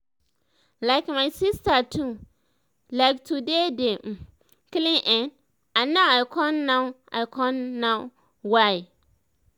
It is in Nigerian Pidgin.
like my sister too like to dey dey um clean[um]and now i con now i con know why